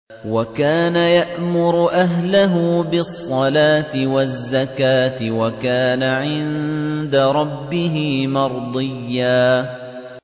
وَكَانَ يَأْمُرُ أَهْلَهُ بِالصَّلَاةِ وَالزَّكَاةِ وَكَانَ عِندَ رَبِّهِ مَرْضِيًّا